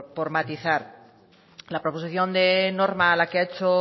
por matizar la proposición de norma a la que ha hecho